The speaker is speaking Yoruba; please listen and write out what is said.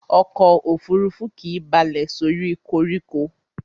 Ọkò òfurufú kìí balẹ̀ sórí koríko.